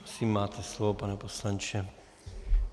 Prosím, máte slovo, pane poslanče.